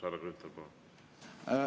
Härra Grünthal, palun!